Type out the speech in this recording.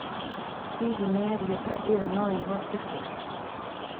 Hihi mĩario ta ĩyo no ĩhoteke?